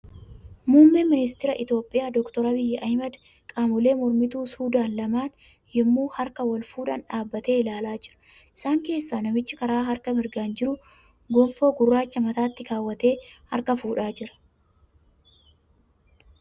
Muummeen ministara Itiyoophiyaa Dooktar Abiyyi Ahmad qaamolee mormituu Suudaan lamaan yemmuu harka wal fuudhan dhaabatee ilaalaa jira. Isaan keessa namichi kara harka mirgaan jiru gonfoi gurraacha mataatti keewwatee harka fuudhaa jira.